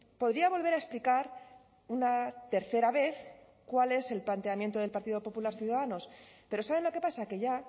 podría volver a explicar una tercera vez cuál es el planteamiento del partido popular ciudadanos pero saben lo que pasa que ya